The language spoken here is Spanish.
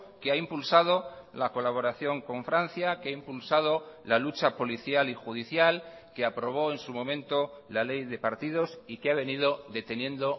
que ha impulsado la colaboración con francia que ha impulsado la lucha policial y judicial que aprobó en su momento la ley de partidos y que ha venido deteniendo